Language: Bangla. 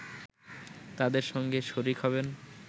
তাদের সঙ্গে শরিক হবেন